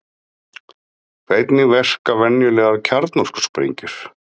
Hvernig verka venjulegar kjarnorkusprengjur?